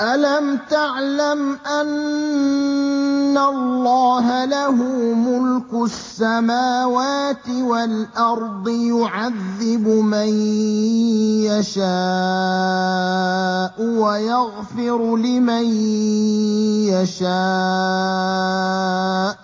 أَلَمْ تَعْلَمْ أَنَّ اللَّهَ لَهُ مُلْكُ السَّمَاوَاتِ وَالْأَرْضِ يُعَذِّبُ مَن يَشَاءُ وَيَغْفِرُ لِمَن يَشَاءُ ۗ